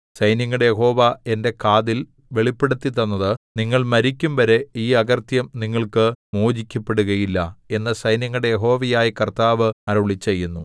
സൈന്യങ്ങളുടെ യഹോവ എന്റെ കാതിൽ വെളിപ്പെടുത്തിത്തന്നത് നിങ്ങൾ മരിക്കുംവരെ ഈ അകൃത്യം നിങ്ങൾക്ക് മോചിക്കപ്പെടുകയില്ല എന്നു സൈന്യങ്ങളുടെ യഹോവയായ കർത്താവ് അരുളിച്ചെയ്യുന്നു